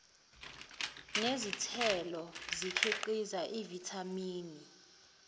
nezithelo ikhiqiza uvithamini